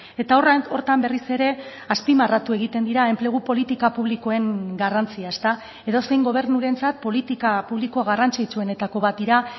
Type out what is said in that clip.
eta horretan berriz ere azpimarratu egiten dira enplegu politika publikoen garrantzia edozein gobernurentzat politika publiko garrantzitsuenetako bat dira